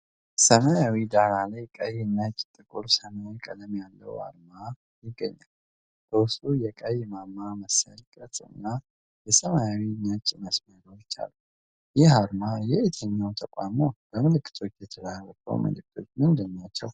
ሰማያዊ ዳራ ላይ ቀይ፣ ነጭ እና ጥቁር ሰማያዊ ቀለም ያለው አርማ ይገኛል። በውስጡ የቀይ ማማ መሰል ቅርፅና የሰማያዊ ነጭ መስመሮች አሉ።። ይህ አርማ የየትኛው ተቋም ነው? በምልክቶቹ የተላለፈው መልእክት ምንድን ነው?